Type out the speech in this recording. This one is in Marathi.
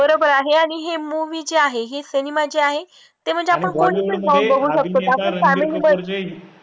बरोबर आहे आणि हे movie जे आहे, हे सिनेमा जे आहे, ते म्हणजे आपण कुठे पण जाऊन बघू शकतो आपण family मध्ये